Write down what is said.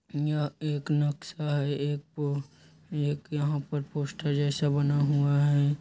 यह एक नक्शा है एक प एक यहाँ पर पोस्टर जैसा बना हुआ है।